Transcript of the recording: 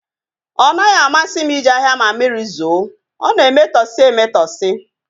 Ọ naghị amasị m ije ahịa ma mmiri zoo, ọ na-emetọsi emetọsi